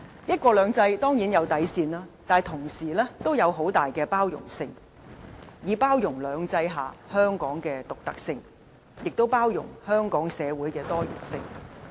"一國兩制"當然有底線，但同時亦有很大的包容性，以包容"兩制"下香港的獨特性，亦包容香港社會的多元性。